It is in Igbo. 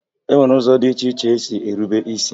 E nwere ụzọ dị iche iche esi erube is